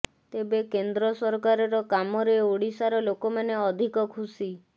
ତେବେ କେନ୍ଦ୍ର ସରକାରର କାମରେ ଓଡିଶାର ଲୋକମାନେ ଅଧିକ ଖୁସି